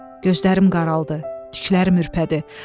Gözlərim qaraldı, tüklərim ürpədi.